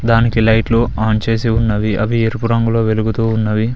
దానికి లైట్లు ఆన్ చేసి ఉన్నవి అవి ఎరుపు రంగులో వెలుగుతూ ఉన్నవి.